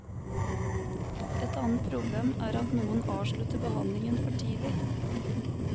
Et annet problem er at noen avslutter behandlingen for tidlig.